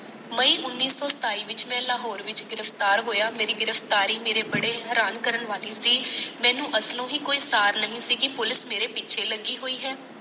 ਮਈ ਉਣੀ ਸੋ ਸਤਾਈ ਵਿੱਚ ਮਾਲਾ ਹੋਣ ਵਿੱਚ ਮੈ ਗਿਰਾਫ਼ਤਾਰ ਹੋਈਆਂ ਮਾਰੀ ਗਿਰਫਤਾਰੀ ਮਾਰੇ ਬੜੇ ਹੈਰਾਨ ਕਰਨ ਵਾਲੀ ਸੀ ਮੈਨੂੰ ਅਸਲੋਂ ਹੀ ਕੋਈ ਸਾਰ ਨਹੀਂ ਸੀ ਪੁਲਿਕ ਮਾਰੇ ਪੁੱਛੇ ਲੱਗੀ ਹੋਈ ਹੈ